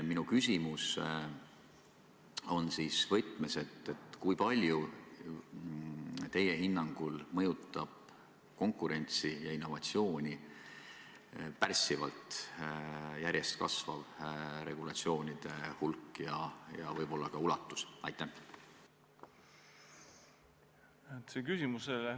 Minu küsimus on selline: kui palju teie hinnangul mõjutab konkurentsi ja innovatsiooni pärssivalt järjest kasvav regulatsioonide hulk ja võib-olla ka ulatus?